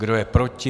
Kdo je proti?